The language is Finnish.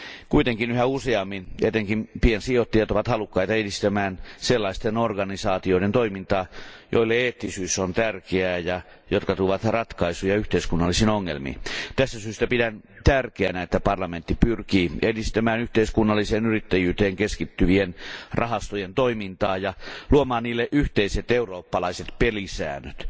Kuitenkin yhä useammin etenkin piensijoittajat ovat halukkaita edistämään sellaisten organisaatioiden toimintaa, joille eettisyys on tärkeää ja jotka tuovat ratkaisuja yhteiskunnallisiin ongelmiin. Tästä syystä pidän tärkeänä, että parlamentti pyrkii edistämään yhteiskunnalliseen yrittäjyyteen keskittyvien rahastojen toimintaa ja luomaan niille yhteiset eurooppalaiset pelisäännöt.